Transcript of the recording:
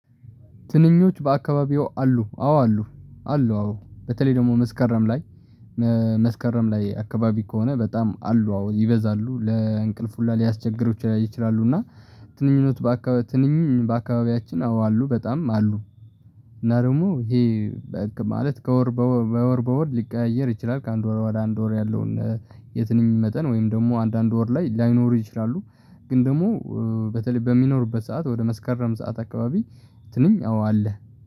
ትንኞች በአካባቢዎ አሉ አዎ አሉ አሉ አዎ በተለይ ደግሞ መስከረም ላይ መስከረም ላይ አካባቢ ከሆነ በጣም አሉ አዎ ይበዛሉ ለእንቅልፍ ሁላ ሊያስቸግሩ ይችላሉ። እና ትንኞች በአካባቢያችን አዎ አሉ በጣም አሉ። እና ደግሞ ይሄ በህግ ማለት ከወር በወር በወር ሊቀያየር ይችላል ከአንድ ወር ወደ አንድ ወር ያለውን የትንኝ መጠን ወይም ደግሞ አንዳንድ ወር ላይ ላይኖሩ ይችላሉ። ግን ደግሞ በተለይ በሚኖርበት ሰዓት ወደ መስከረም ሰዓት አካባቢ ትንኝ አዎ አለ